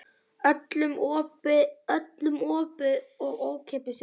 Öllum opið og ókeypis inn.